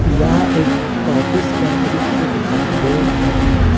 यह एक ऑफिस का दृश्य दिखाई दे रहा है।